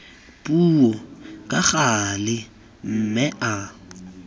puo ka gale mme a